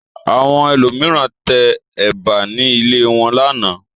Àwọn ẹlòmíràn tẹ ẹ̀bà ní ilé wọn lánàá.